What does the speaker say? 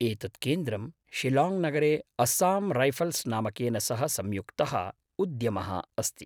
एतत् केन्द्रं शिलाङ्ग् नगरे अस्साम् रैफ़ल्स् नामकेन सह संयुक्तः उद्यमः अस्ति।